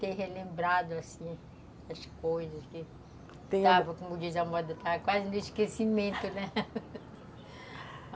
ter relembrado, assim, as coisas que estava, como diz a moda, quase no esquecimento, né?